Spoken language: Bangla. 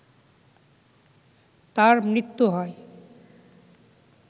তার মৃত্যু হয়